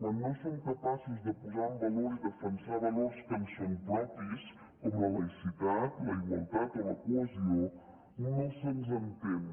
quan no som capaços de posar en valor i defensar valors que ens són propis com la laïcitat la igualtat o la cohesió no se’ns entén